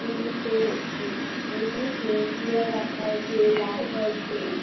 Chair রাখা আছে light আছে ।